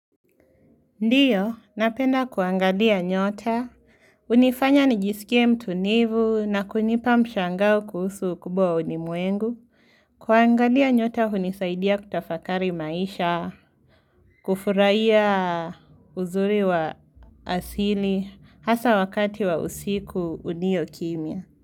Ndiyo, napenda kuangalia nyota, hunifanya nijisikie mtulivu na kunipa mshangao kuhusu ukubwa wa ulimwengu. Kuangalia nyota hunisaidia kutafakari maisha, kufurahia uzuri wa asili, hasa wakati wa usiku uliyo kimya.